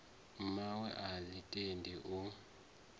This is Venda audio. mmawe a ḽi tendi u